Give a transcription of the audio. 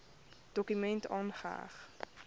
dokument aangeheg